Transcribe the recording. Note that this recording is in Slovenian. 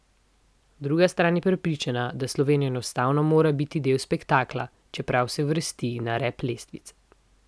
Druga stran je prepričana, da Slovenija enostavno mora biti del spektakla, čeprav se uvrsti na rep lestvice.